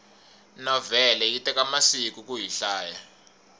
novhele yi teka masiku kuyi hlaya